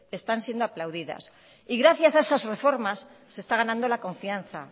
están siendo aplaudidas y gracias a esas reformas se está ganando la confianza